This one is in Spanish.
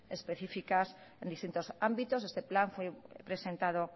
específicas en distintos ámbitos este plan fue presentado